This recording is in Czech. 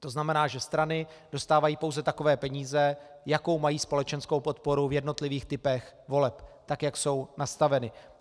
To znamená, že strany dostávají pouze takové peníze, jakou mají společenskou podporu v jednotlivých typech voleb, tak jak jsou nastaveny.